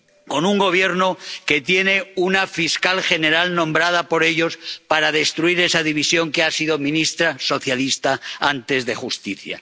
Con un Gobierno que tiene una fiscal general nombrada por ellos para destruir esa división, y que fue antes ministra socialista de Justicia.